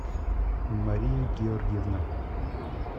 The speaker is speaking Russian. мария георгиевна